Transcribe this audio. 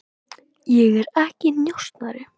Ég er ekki njósnari.